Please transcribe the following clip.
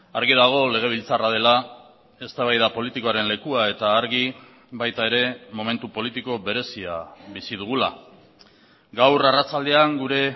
argi dago legebiltzarra dela eztabaida politikoaren lekua eta argi baita ere momentu politiko berezia bizi dugula gaur arratsaldean gure